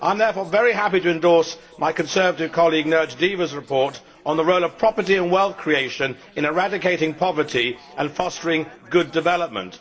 I am, therefore, very happy to endorse my Conservative colleague Nirj Deva's report on the role of property and wealth creation in eradicating poverty and fostering good development.